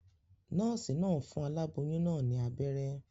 Nòòsì naa n fun aláboyún naa ní abéré